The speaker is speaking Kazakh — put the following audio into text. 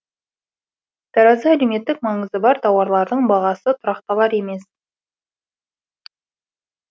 таразда әлеуметтік маңызы бар тауарлардың бағасы тұрақталар емес